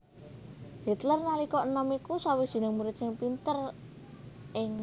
Hitler nalika enom iku sawijining murid sing pinter ing